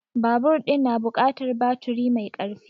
Babur ɗin na buƙatar baturi mai karfi